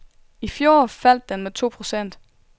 I fjor faldt den med to procent.